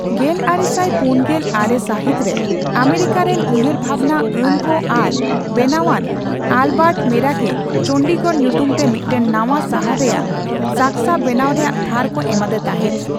ᱜᱮᱞᱟᱨᱮᱥᱟᱭ ᱯᱩᱱᱜᱮᱞ ᱟᱨᱮ ᱥᱟᱹᱦᱤᱛ ᱨᱮ, ᱟᱢᱮᱨᱤᱠᱟ ᱨᱮᱱ ᱩᱭᱦᱟᱹᱨᱵᱦᱟᱵᱱᱟ ᱟᱱ ᱠᱚ ᱟᱨ ᱵᱮᱱᱟᱣᱟᱱ ᱟᱞᱵᱟᱨᱴ ᱢᱮᱨᱟᱠᱮ ᱪᱚᱱᱰᱤᱜᱚᱲ ᱧᱩᱛᱩᱢ ᱛᱮ ᱢᱤᱫᱴᱟᱝ ᱱᱟᱣᱟ ᱥᱟᱦᱟᱨ ᱨᱮᱭᱟᱜ ᱥᱟᱠᱥᱟ ᱵᱮᱱᱟᱣ ᱨᱮᱭᱟᱜ ᱵᱷᱟᱨ ᱠᱚ ᱮᱢᱟᱫᱮ ᱛᱟᱦᱮᱸᱫ ᱾